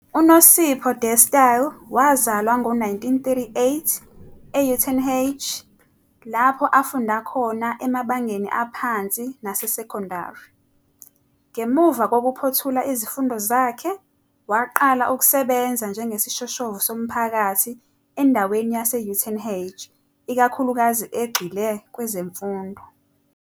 UNosipho Dastile wazalwa ngo-1938 e-Uitenhage, lapho afunda khona emabangeni aphansi nasesekondari. Ngemuva kokuphothula izifundo zakhe, waqala ukusebenza njengesishoshovu somphakathi endaweni yase-Uitenhage, ikakhulukazi egxile kwezemfundo.